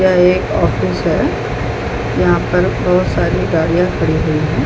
यह एक ऑफिस है यहाँ पर बहुत सारे गाड़ियाँ खड़े हुए हैं |